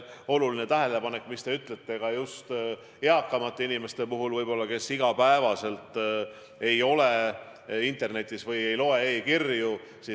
See teie tähelepanek, et tuleb mõelda just eakamatele inimestele, kes võib-olla iga päev ei ole internetis ega loe ka e-kirju, on oluline.